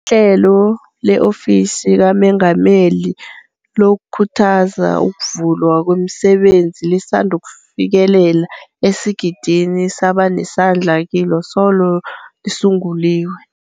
IHlelo le-Ofisi kaMengameli lokuKhuthaza ukuVulwa kwemiSebenzi lisandufikelela esigidini sabanesandla kilo solo lisunguliwe.